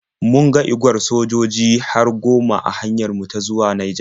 Mun ga igwar sojoji har goma a hanyar mu ta zuwa Naija.